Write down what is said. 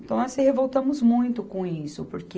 Então assim, revoltamos muito com isso, porque...